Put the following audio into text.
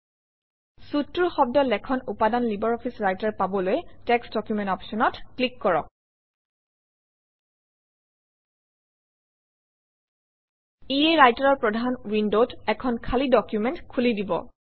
Suite টোৰ শব্দ লেখন উপাদান লাইব্ৰঅফিছ ৰাইটাৰ পাবলৈ টেক্সট ডকুমেণ্ট অপশ্যনত ক্লিক কৰক ইয়ে ৰাইটাৰৰ প্ৰধান উইণ্ডত এখন খালী ডকুমেণ্ট খুলি দিব